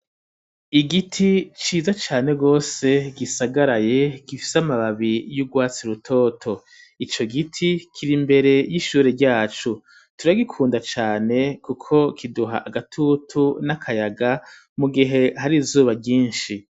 Igiti ciza cane gose gisagaraye gifise amababi y'urwatsi rutoto ico giti kiri imbere y'ishure ryacu turagikunda cane kuko kiduha agatutu n'akayaga mugihe hari zuba ryishi.